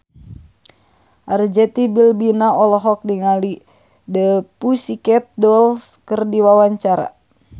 Arzetti Bilbina olohok ningali The Pussycat Dolls keur diwawancara